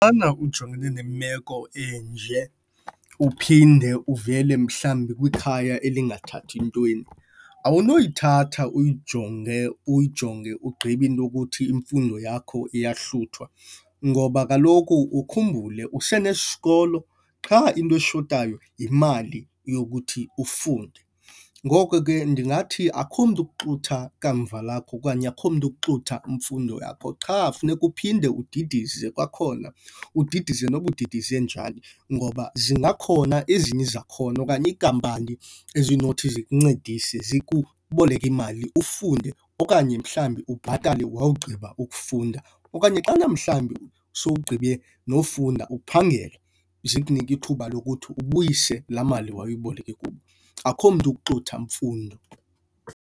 Xana ujongene nemeko enje uphinde uvele mhlawumbi kwikhaya elingathathi ntweni, awunoyithatha uyijonge uyijonge ugqibe into yokuthi imfundo yakho iyahluthwa. Ngoba kaloku ukhumbule use nesikolo, qha into eshotayo yimali yokuthi ufunde. Ngoko ke ndingathi akukho mntu ukuxutha kamva lakhe okanye akukho mntu ukuxutha mfundo yakho qha funeka uphinde udidize kwakhona. Udidize noba udidize njani ngoba zingakhona ezinye izakhono okanye iinkampani ezinothi zikuncedise zikuboleke imali ufunde okanye mhlawumbi ubhatale wawugqiba ufunda. Okanye xana mhlawumbi sowugqibe nokufunda uphangela, zikunike ithuba lokuthi ubuyise laa mali wayiboleke kubo. Akukho mntu ukuxutha mfundo.